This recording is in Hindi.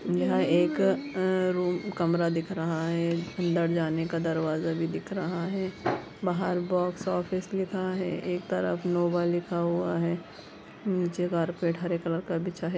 यह एक रूम कमरा दिख रहा हैं अंदर जाने का दरवाज़ा भी दिख रहा हैं बाहर बॉक्स ऑफिस लिखा हैं एक तरफ नोवा लिखा हुआ हैं नीचे कार्पेट हरे कलर का बिछा हैं।